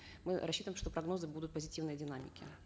мы рссчитываем что прогнозы будут в позитивной динамике